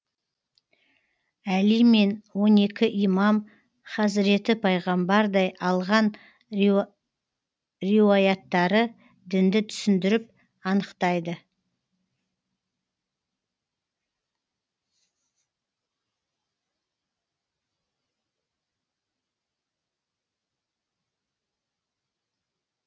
әли мен он екі имам хазіреті пайғамбардай алған риуаяттары дінді түсіндіріп анықтайды